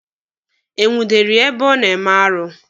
E nwudere ya ebe o na-eme arụ?